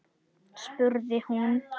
spurði hún.